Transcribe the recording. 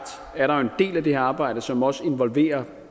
er der jo en del af det her arbejde som også involverer